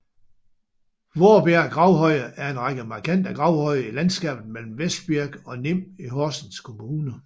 Vorbjerg Gravhøje er en række markante gravhøje i landskabet mellem Vestbirk og Nim i Horsens Kommune